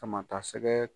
Sama ta sɛgɛ